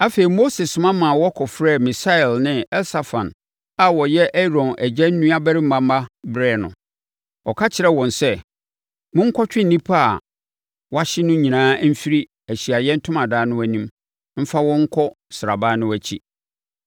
Afei, Mose soma ma wɔkɔfrɛɛ Misael ne Elsafan a wɔyɛ Aaron agya nuabarima mma brɛɛ no. Ɔka kyerɛɛ wɔn sɛ, “Monkɔtwe nnipa a wɔahye no nyinaa mfiri Ahyiaeɛ Ntomadan no anim mfa wɔn nkɔ sraban no akyi.”